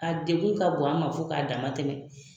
A deku ka bon an ma fo ka dama tɛmɛ.